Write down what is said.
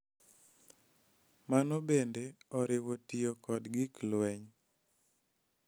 Mano bende oriwo tiyo kod gik lweny.